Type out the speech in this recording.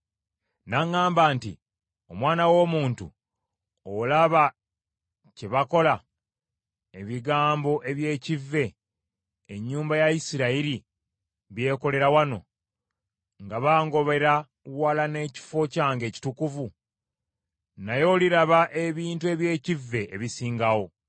N’aŋŋamba nti, “Omwana w’omuntu, olaba kye bakola, ebigambo eby’ekivve ennyumba ya Isirayiri byekolera wano, nga bangobera wala n’ekifo kyange ekitukuvu? Naye oliraba ebintu eby’ekivve ebisingawo.”